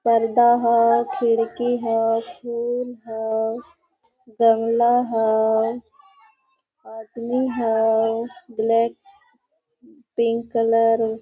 पर्दा हो खिड़की हो फूल हो गमला हो आदमी हो ब्लैक पिंक कलर --